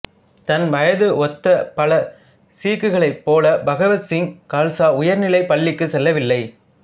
தன் வயதை ஒத்தப் பல சீக்குகளைப் போல பகத்சிங் கல்சா உயர்நிலைப்பள்ளிக்கு செல்லவில்லை